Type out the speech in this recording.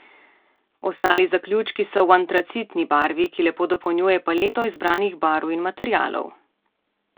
Ostali zaključki so v antracitni barvi, ki lepo dopolnjuje paleto izbranih barv in materialov.